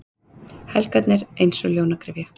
Helgarnar eins og ljónagryfja.